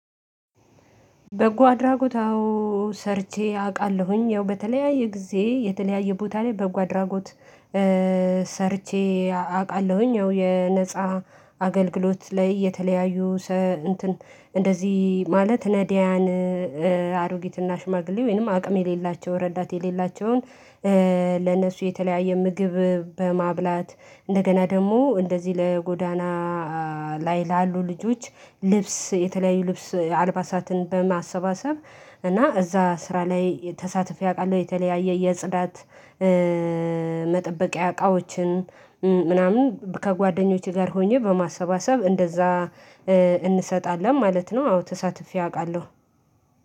በጎ አድራጎት አዎ ሰርቼ አውቃለሁኝ ያው በተለያየ ጊዜ የተለያየ ቦታ ላይ በጎ አድራጎት ሰርቼ አውቃለሁኝ ያው የነፃ አገልግሎት ላይ የተለያዩ እንትን እንደዚህ ማለት ነዲያን አሮጊትና ሽማግሌ ወይንም አቅም የሌላቸው ረዳት የሌላቸውን። ለነሱ የተለያየ ምግብ በማብላት እንደገና ደግሞ እንደዚህ ለጎዳና ላይ ላሉ ልጆች ልብስ የተለያዩ ልብስ አልባሳትን በማሰባሰብ እና እዛ ስራ ላይ ተሳትፊ አውቃለሁ። የተለያየ የጽዳት መጠበቂያ እቃዎችን ምናምን ከጓደኞቼ ጋር ሆኜ በማሰባሰብ እንደዛ እንሰጣለን ማለት ነው። አዎ ተሳትፌ አውቃለሁ።